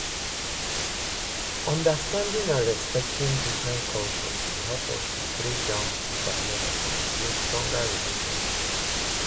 understanding and respecting different cultures dey help us to break down di barriers and build stronger relationships.